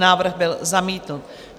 Návrh byl zamítnut.